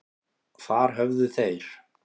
Þar höfðu þeir